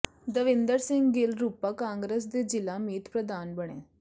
ਦਵਿੰਦਰ ਸਿੰਘ ਗਿੱਲ ਰੂਪਾ ਕਾਂਗਰਸ ਦੇ ਜ਼ਿਲ੍ਹਾ ਮੀਤ ਪ੍ਰਧਾਨ ਬਣੇ